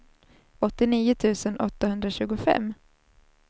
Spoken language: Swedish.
åttionio tusen åttahundratjugofem